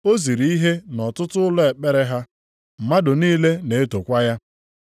O ziri ihe nʼọtụtụ ụlọ ekpere ha, mmadụ niile na-etokwa ya.